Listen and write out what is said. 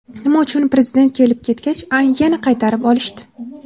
Nima uchun Prezident kelib-ketgach, uyni yana qaytarib olishdi?